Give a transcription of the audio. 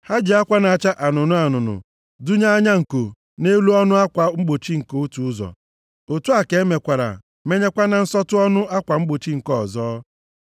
Ha ji akwa na-acha anụnụ anụnụ dụnye anya nko nʼelu ọnụ akwa mgbochi nke otu ụzọ, otu a ka emekwara menyekwa na nsọtụ ọnụ akwa mgbochi nke ọzọ.